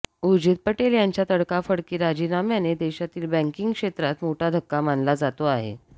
उर्जित पटेल यांच्या तडकाफडकी राजीनाम्याने देशातील बँकींग क्षेत्रात मोठा धक्का मानला जातो आहे